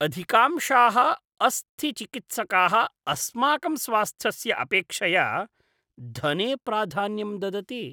अधिकांशाः अस्थिचिकित्सकाः अस्माकं स्वास्थ्यस्य अपेक्षया धने प्राधान्यं ददति।